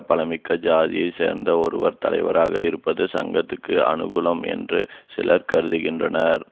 பலமிக்க ஜாதியை சேர்ந்த ஒருவர் தலைவராக இருப்பது சங்கத்துக்கு அனுகூலம் என்று சிலர் கருதுகின்றனர்